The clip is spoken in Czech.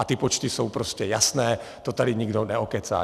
A ty počty jsou prostě jasné, to tady nikdo neokecá.